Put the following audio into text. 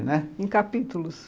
né? Em capítulos?